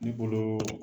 Ne bolo